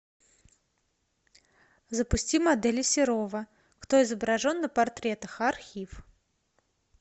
запусти модели серова кто изображен на портретах архив